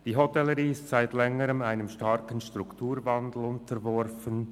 Die Hotellerie ist seit Längerem einem Strukturwandel unterworfen.